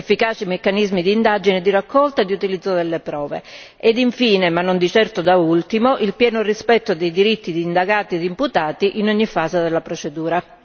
efficaci meccanismi di indagine, di raccolta e di utilizzo delle prove, ed infine, ma non di certo da ultimo, il pieno rispetto dei diritti degli indagati e degli imputati in ogni fase della procedura.